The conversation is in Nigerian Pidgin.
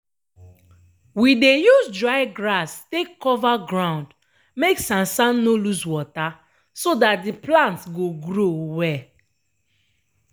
we dey use dry grass take cover ground make sansan no lose wata so dat de plant go grow well.